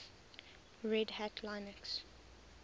red hat linux